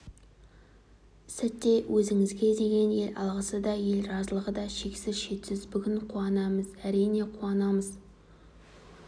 сәтте өзіңізге деген ел алғысы да ел разылығы да шексіз шетсіз бүгін қуанамыз әрине қуанамыз